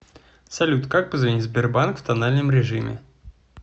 салют как позвонить в сбербанк в тональном режиме